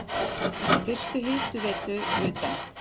Fyrstu hitaveitu utan